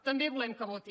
també volem que voti